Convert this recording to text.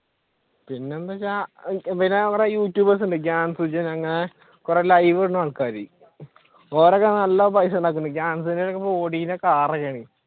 പിന്നെന്തൊക്കെയാ പിന്നെ അവിടെ യൂട്യൂബർസ്‌ ഉണ്ട് അങ്ങനെ കുറെ ലൈവ് ഇടുന്ന ആൾക്കാർ ഇവരൊക്കെയാണ് നല്ല പൈസയുണ്ടാക്കുന്നത്